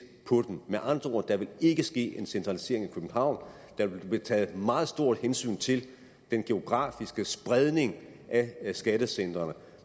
på dem med andre ord der vil ikke ske en centralisering i københavn der vil blive taget et meget stort hensyn til den geografiske spredning af skattecentrene